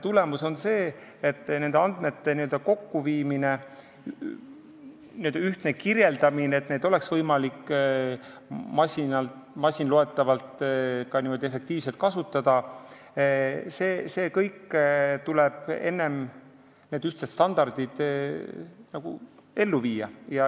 Tulemus on see, et andmete kokkuviimine, nende ühtne kirjeldamine, nii et neid oleks võimalik masinloetavalt efektiivselt kasutada, tuleb enne ära teha, need ühtsed standardid tuleb ellu viia.